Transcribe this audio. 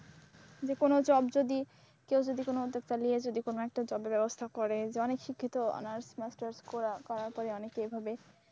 যে কোন job যদি কেউ যদি কোন উদ্যোক্তা নিয়ে কোনো একটা job এর ব্যবস্থা করে। যে অনেক শিক্ষিত honours masters করার পরে অনেকে এভাবে